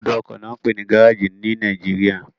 Ibùdó ọkọ ni wọ́n ń pè ní gáréèjì ní Nàìjíríà